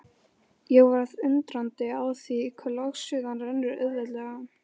Ég varð undrandi á því hve logsuðan rennur auðveldlega.